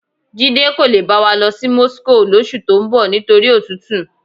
Jídé kò le bá wa lọ sí Moscow lóṣù tó ń bọ̀ nítorí òtútù.